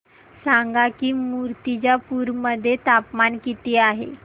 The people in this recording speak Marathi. सांगा की मुर्तिजापूर मध्ये तापमान किती आहे